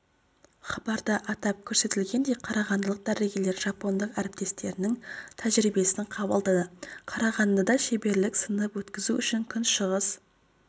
хабарда атап көрсетілгендей қарағандылық дәрігерлер жапондық әріптестерінің тәжірибесін қабылдады қарағандыға шеберлік-сынып өткізу үшін күн шығыс